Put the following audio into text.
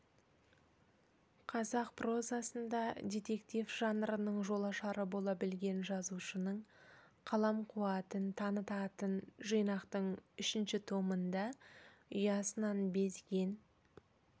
қазақ прозасында детектив жанрының жолашары бола білген жазушының қалам қуатын танытатын жинақтың үшінші томында ұясынан безген